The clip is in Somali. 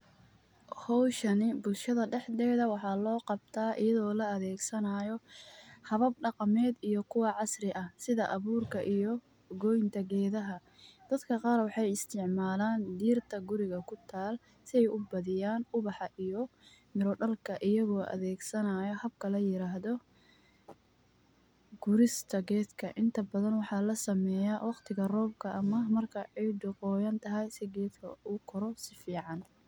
Howshan bulshada daxdeda waxa loqabta ayado la adegsanayo habab daqamed iyo kuwa casri eh sidi aburki iyo goynta gedaha, dadka qar waxay istacmalan dirta guriga kutala say ubadhiyan ubaxa iyo mira dalka ayago adheg sanay habka layirado gurista gedka inta badhan waxa lasameya waqtiga robka markay cida qoyantahy si u gedka ukoro safican.